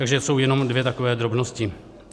Takže jsou jenom dvě takové drobnosti.